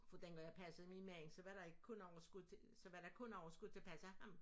For dengang jeg passede mig mand så var der ikke kun overskud så var der kun overskud til at passe ham